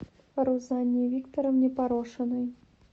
рузанне викторовне порошиной